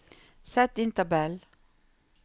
Sett inn tabell